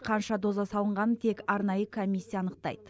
қанша доза салынғанын тек арнайы комиссия анықтайды